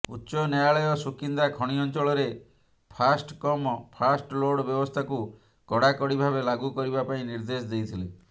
ଉଚ୍ଚନ୍ୟାୟାଳୟ ସୁକିନ୍ଦା ଖଣି ଅଞ୍ଚଳରେ first come first load ବ୍ୟବସ୍ଥାକୁ କଡାକଡି ଭାବେ ଲାଗୁ କରିବା ପାଇଁ ନିଦେ୍ର୍ଦଶ ଦେଇଥିଲେ